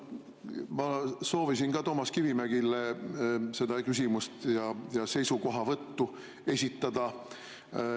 Ma soovisin ka Toomas Kivimägile küsimust ja seisukohavõttu esitada.